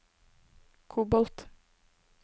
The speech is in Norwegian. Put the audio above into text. kobolt